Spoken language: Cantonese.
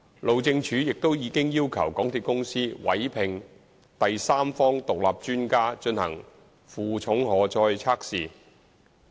路政署亦已要求港鐵公司委聘第三方獨立專家進行負重荷載的測試。